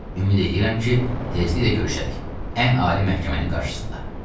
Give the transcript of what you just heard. Ümid eləyirəm ki, tezliklə görüşərik ən ali məhkəmənin qarşısında.